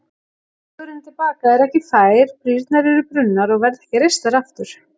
Vegurinn til baka er ekki fær, brýrnar eru brunnar og verða ekki reistar aftur.